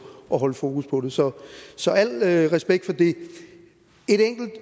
holde fokus på det så så al respekt for det